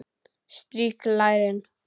Strýk lærin.